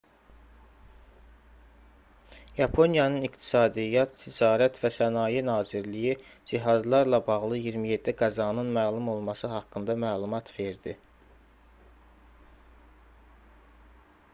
yaponiyanın i̇qtisadiyyat ticarət və sənaye nazirliyi cihazlarla bağlı 27 qəzanın məlum olması haqqında məlumat verdi